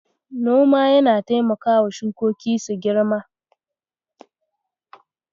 Noma yana taimakawa shukoki su girma.